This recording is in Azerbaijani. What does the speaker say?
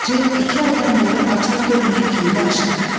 Bacı iki aydan bəri açar görməyən kilidi açdı.